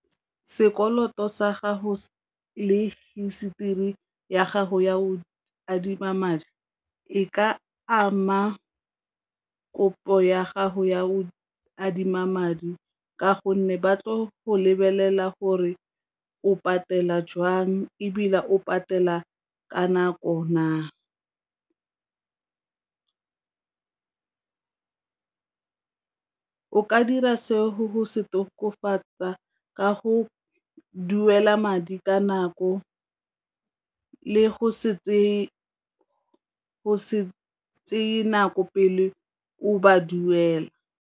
Sekoloto sa gago le histori ya gago ya o adima madi e ka ama kopo ya gago ya o adima madi, ka gonne ba tlo go lebelela gore o patela jang ebile o patela ka nako na. O ka dira se go se o tokafatsa ka go duela madi ka nako le go se tseye nako pele o ba duela.